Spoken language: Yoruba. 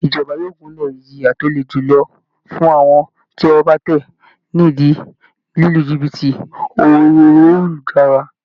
Ìjọba yóò gúnlè ìjìyà tó le julọ fún àwọn tí ọwọ́ bá tẹ̀ ni ìdí lílu jìbìtì orí ayélujára